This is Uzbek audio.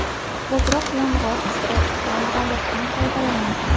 Ko‘proq yong‘oq, pista, tuxum, baliqdan foydalaning.